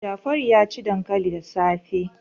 Jafaru ya ci dankali da safe.